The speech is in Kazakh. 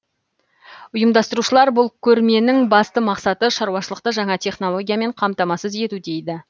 ұйымдастырушылар бұл көрменің басты мақсаты шаруашылықты жаңа технологиямен қамтамасыз ету дейді